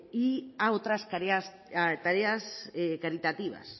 y a otras tareas caritativas